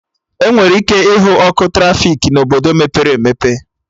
Enwere ike ịhụ ọkụ trafiki na Obodo mepere emepe